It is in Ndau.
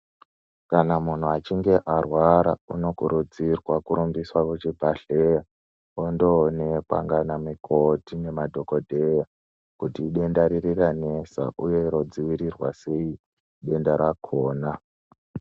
Kana munhu achinge arwara unokurudzirwa kurumbiswa kuchibhahleya ondoonekwa naana mukoti ngemadhogodheya kuti idenda riri ranesa uye rodziirirwa sei denda rakona.